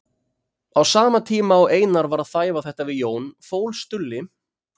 Á sama tíma og Einar var að þæfa þetta við Jón fól Stulli